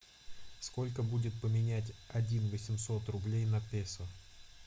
сколько будет поменять один восемьсот рублей на песо